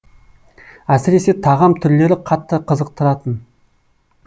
әсіресе тағам түрлері қатты қызықтыратын